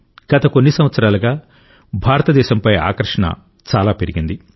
గత కొన్ని సంవత్సరాలుగా భారతదేశంపై ఆకర్షణ చాలా పెరిగింది